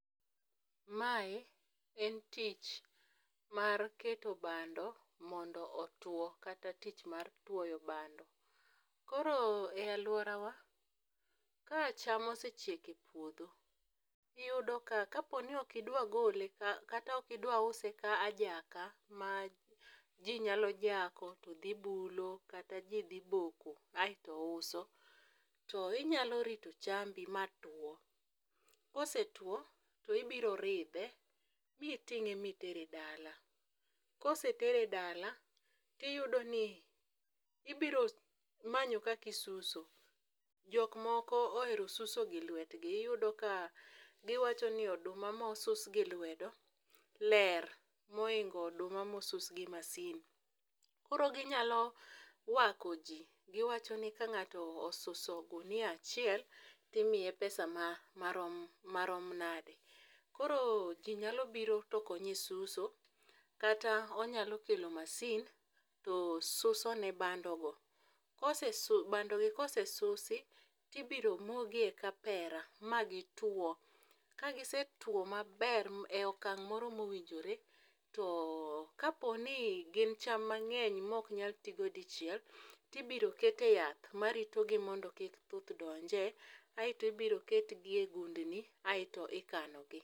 Mae en tich mar keto bando mondo otuwo kata tich mar tuoyo bando. Koro e alworawa, ka cham osechiek e puodho, iyudo ka kapo ni ok idwa gole kata ok idwa use ka ajaka ma ji nyalo jako to dhi bulo kata ji dhi boko aeto uso, to inyalo rito chambi matuwo, kosetuwo, to ibiro ridhe miting'e mitere dala. Kosetere dala, tiyudo ni ibiro manyo kaka isuso. Jok moko ohero suso gi lwetgi, iyudo ka giwacho ni oduma mosusgi lwedo ler mohingo oduma mosus gi masin. koro ginyalo wako ji, giwacho ni ka ng'ato osuso ogunia achiel, timiye pesa marom nadi, koro ji nyalo biro tokonye suso, kata onyalo kelo masin to susone bandogo . Bandogi kosesusi, tibiro moogi e kapera magituwo, kagisetuwo maber e okang' moro mowinjore, to kaponi gin cham mang'eny mok nyal tigo dichiel, tibiro kete yath maritogi mondo kik thuth donje aeto ibiro ketgi e gundni aeto ikanogi.